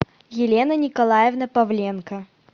елена николаевна павленко